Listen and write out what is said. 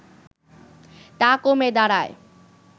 তা কমে দাঁড়ায়